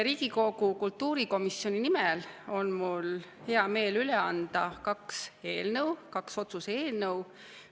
Riigikogu kultuurikomisjoni nimel on mul hea meel üle anda kaks eelnõu, kaks otsuse eelnõu.